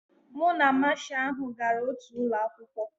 Mụ na Masha ahụ gara otu ụlọ akwụkwọ